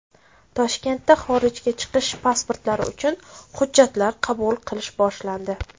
Toshkentda xorijga chiqish pasportlari uchun hujjatlar qabul qilish boshlandi.